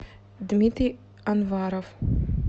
дмитрий анваров